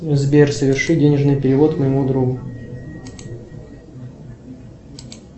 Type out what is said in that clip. сбер соверши денежный перевод моему другу